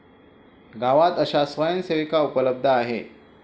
गावात अशा स्वयंसेविका उपलब्ध आहे.